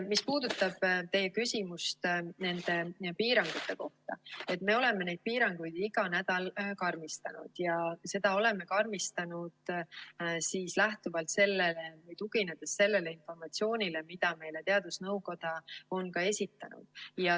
Mis puudutab teie küsimust piirangute kohta, siis me oleme neid piiranguid iga nädal karmistanud ja oleme karmistanud lähtuvalt sellest või tuginedes sellele informatsioonile, mida teadusnõukoda on meile esitanud.